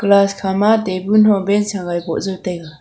class kha ma table hu bench hawai po jai taiga.